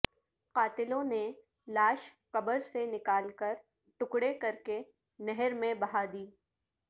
قاتلوں نے لاش قبرسے نکال کر ٹکڑے کرکے نہر میں بہا دی